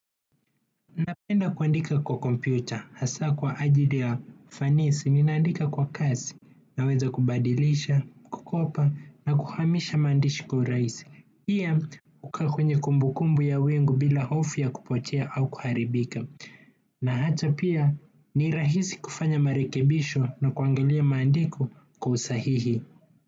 Napenda kuandika kwa kompyuta, hasa kwa ajili ya ufanisi, ninaandika kwa kasi, naweza kubadilisha, kukopa, na kuhamisha maandishi kwa urahisi. Piya, hukaakwenye kumbukumbu ya wingu bila hofu ya kupotea au kuharibika. Na hata pia, nirahisi kufanya marekebisho na kuangalia maandiko kwa usahihi.